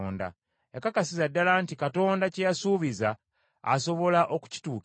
Yakakasiza ddala nti Katonda kye yasuubiza asobola okukituukiriza,